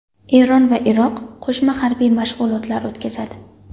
Eron va Iroq qo‘shma harbiy mashg‘ulotlar o‘tkazadi.